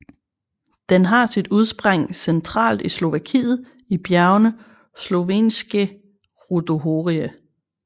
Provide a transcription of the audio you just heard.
Den har sit udspring centralt i Slovakiet i bjergene Slovenské rudohorie